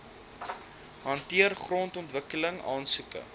hanteer grondontwikkeling aansoeke